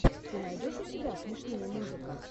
ты найдешь у себя смешные музыка